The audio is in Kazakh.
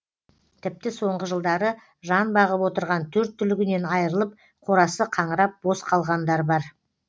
тіпті соңғы жылдары жан бағып отырған төрт түлігінен айырылып қорасы қаңырап бос қалғандар бар